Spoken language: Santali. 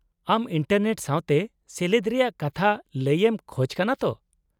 -ᱟᱢ ᱤᱱᱴᱟᱨᱱᱮᱴ ᱥᱟᱶᱛᱮ ᱥᱮᱞᱮᱫ ᱨᱮᱭᱟᱜ ᱠᱟᱛᱷᱟ ᱞᱟᱹᱭ ᱮᱢ ᱠᱷᱚᱪ ᱠᱟᱱᱟ ᱛᱚ ?